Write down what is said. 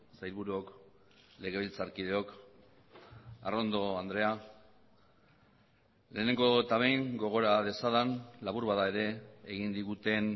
sailburuok legebiltzarkideok arrondo andrea lehenengo eta behin gogora dezadan labur bada ere egin diguten